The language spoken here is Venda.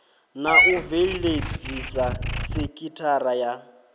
na u bveledzisa sekithara ya